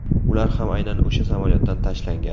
Ular ham aynan o‘sha samolyotdan tashlangan.